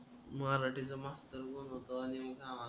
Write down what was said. मराठीचा मास्तर कोण होत आणि